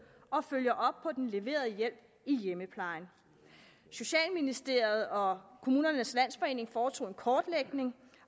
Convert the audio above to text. og følger op på den leverede hjælp i hjemmeplejen socialministeriet og kommunernes landsforening foretog en kortlægning